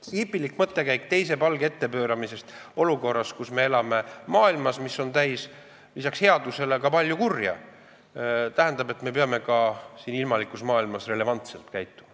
See on hipilik mõttekäik teise palge ette pööramisest, aga me elame maailmas, kus on lisaks headusele ka palju kurja, ja me peame ka siin ilmalikus maailmas relevantselt käituma.